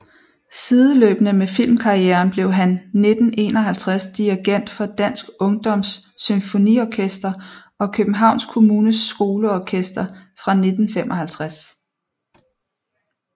Sideløbende med filmkarrieren blev han 1951 dirigent for Dansk ungdoms Symfoniorkester og Københavns Kommunes Skoleorkester fra 1955